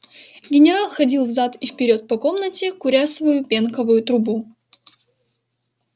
генерал ходил взад и вперёд по комнате куря свою пенковую трубу